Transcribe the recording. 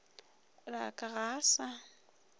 la ka ga a sa